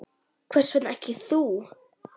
Hvers vegna ekki þú?